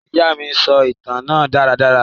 Ìya mi sọ ìtan náà daradara.